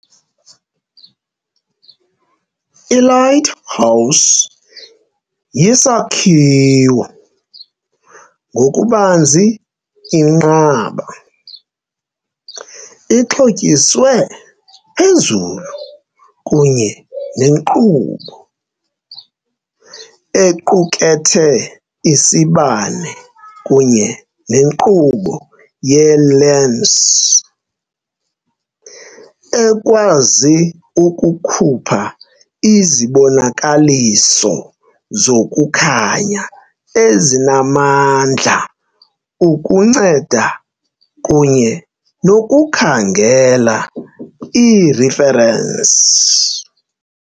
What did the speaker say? I-lighthouse yisakhiwo, ngokubanzi inqaba, ixhotyiswe phezulu kunye nenkqubo, equkethe isibane kunye nenkqubo yeelensi, ekwazi ukukhupha izibonakaliso zokukhanya ezinamandla ukunceda kunye nokukhangela ireferensi.